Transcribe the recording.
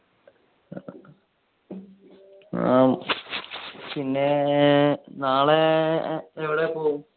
ആ പിന്നെ നാളെ എവിടെ പോകും.